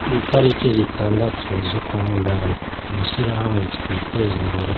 Kwitariki zitandatu zukwamunani, mw'ishyirahamwe twitezimbere